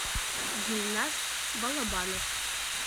гульназ балабанов